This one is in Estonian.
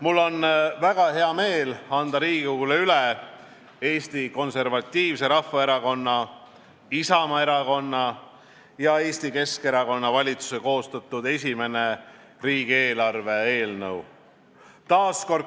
Mul on väga hea meel anda Riigikogule üle Eesti Konservatiivse Rahvaerakonna, Isamaa erakonna ja Eesti Keskerakonna valitsuse koostatud esimene riigieelarve eelnõu.